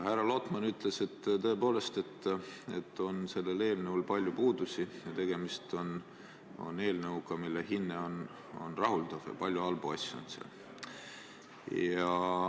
Härra Lotman ütles, et sellel eelnõul on palju puudusi, tegemist on eelnõuga, mille hinne on rahuldav, ja selles on palju halbu asju.